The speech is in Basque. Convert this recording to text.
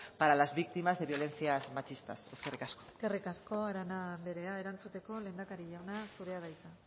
para las víctimas de violencias machistas eskerrik asko eskerrik asko arana anderea erantzuteko lehendakari jauna zurea da hitza